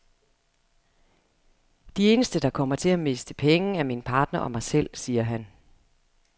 De eneste, der kommer til at miste penge, er min partner og mig selv, siger han.